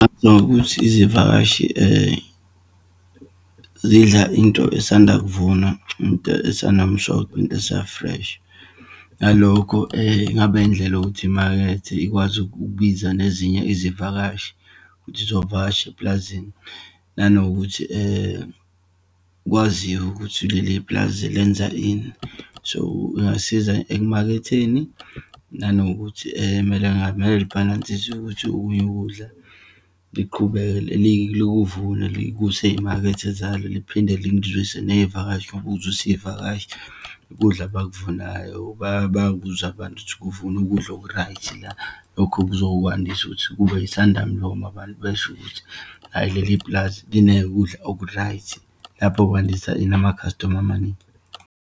Nokuthi izivakashi zidla into esanda kuvunwa, into esenomsoco, into esa-fresh. Ngalokho ingaba indlela yokuthi imakethe ikwazi ukubiza nezinye izivakashi ukuthi zizovakasha epulazini. Nanokuthi kwaziwe ukuthi leli pulazi lenza ini. So, ingasiza ekumaketheni, nanokuthi kumele ngabe libhalnsiswa ukuthi okunye ukudla, liqhubekele likuvune, likuse eyimakethe zalo, liphinde likuzwise neyivakashi, ukuzwisa iyivakashi ukudla abakuvunayo. Bakuzwe abantu ukuthi kuvunwa ukudla oku-right la. Lokhu kuzokwandisa ukuthi kube isanda mlomo, abantu besho ukuthi, hhayi leli pulazi linekudla oku-right. Lapho kwandisa ini, ama-customer amaningi.